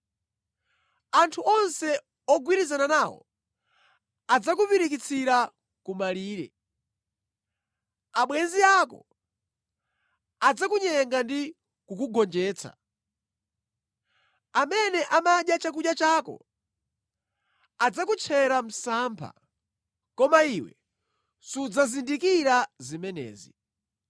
Anthu onse ogwirizana nawo adzakupirikitsira kumalire; abwenzi ako adzakunyenga ndi kukugonjetsa; amene amadya chakudya chako adzakutchera msampha, koma iwe sudzazindikira zimenezi.”